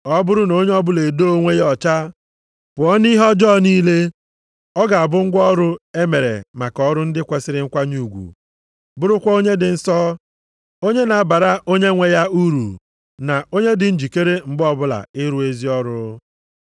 Ọ bụrụ na onye ọbụla edoo onwe ya ọcha pụọ nʼihe ọjọọ niile, ọ ga-abụ ngwa ọrụ e mere maka ọrụ ndị kwesiri nkwanye ugwu, bụrụkwa onye dị nsọ, onye na-abara Onyenwe ya uru, na onye dị njikere mgbe ọbụla ịrụ ezi ọrụ.